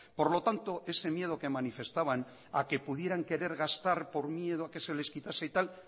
por lo tanto ese miedo que manifestaban a que pudieran querer gastar por miedo a que se les quitase y tal